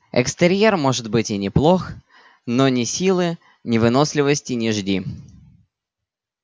экстерьер может будет и неплох но ни силы ни выносливости не жди